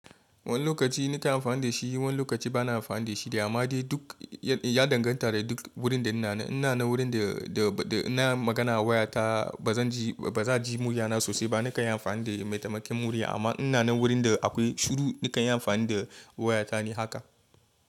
Wani lokaci nike amfani da shi wani lokaci bana amfani da shi da amma dai duk ya danganta da duk wurin da ina. Ina na wurin da ina magana waya ta ba zan ji ba za ji murya na sosai ba nika amfani da maitamaken murya amma ina na wurin da akwai shuru nika amfani da waya ta ne haka.